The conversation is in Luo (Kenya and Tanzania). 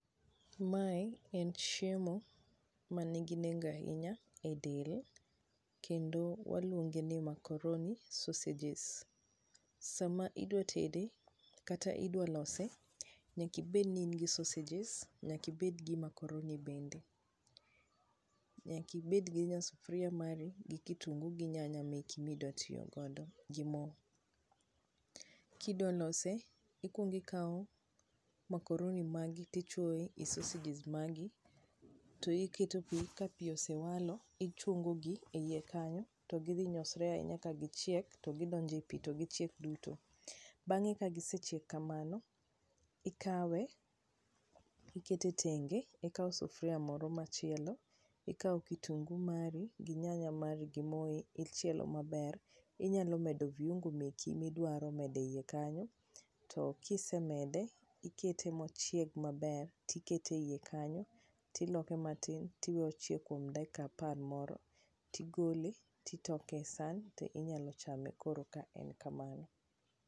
Mae en chiemo ma nigi nengo ahinya e del kendo waluonge ni macoroni sausages. Sama idwa tede kata idwa lose, nyaka ibed ni in gi sausages nyaka ibed ni in gi macoroni bende. Nyaka ibed gi nya sufria mari gi kitungu gi nyanya meki ma idwa tiyo godo gi mo. Kidwa lose, ikuongo ikao macoroni magi tichuoe sausages magi, tiketo pi ka pi osewalo, tichungo gi e ie kanyo to gidhi nyosre ahinya ka gichiek to gi chiek duto. Bang'e ka gisechiek kamano, ikawe tikete tenge, ikao sufria moro machielo, ikao kitungu mari, gi nyanya mari gi moi ichielo maber. Inyalo medo viuongo meki midwaro medo e ie kanyo, to kisemede ikete mochiegi maber tikete e ie kanyo tiloke matin, tiwe ochiek kuom dakika apar moro, tigole titoke e san tinyalo chame koro ka en kamano.